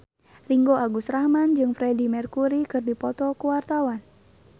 Ringgo Agus Rahman jeung Freedie Mercury keur dipoto ku wartawan